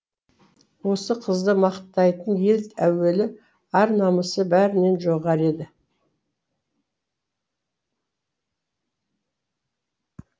осы қызды мақтайтын ел әуелі ар намысы бәрінен жоғары еді